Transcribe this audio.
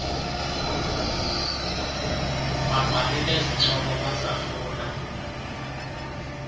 babhali bezincoko bazahlula